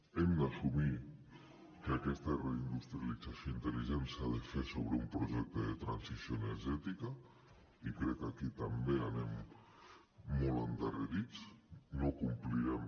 hem d’assumir que aquesta reindustrialització intel·ligent s’ha de fer sobre un projecte de transició energètica i crec que aquí també anem molt endarrerits no complirem